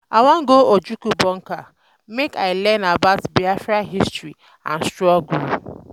I wan go Ojukwu Bunker um make I learn about Biafra history and struggle.